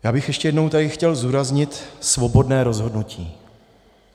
Já bych ještě jednou tady chtěl zdůraznit svobodné rozhodnutí.